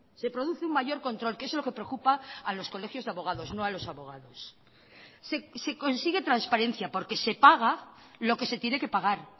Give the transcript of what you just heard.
se produce un mayor control que es lo que preocupa a los colegios de abogados no a los abogados se consigue transparencia porque se paga lo que se tiene que pagar